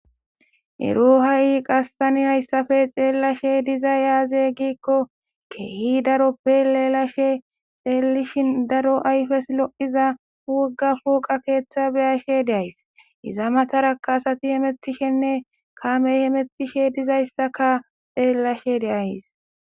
ero ha7i qastani hayssafe xeellashe diza aze giikko keehi daroppe leelashe xeelishin daro ayfes lo7iza wuga fooqa keeththa beyashe deays iza matarakaasati hemetishenne kamey hemettishe dizayssaka xeellashe de'ays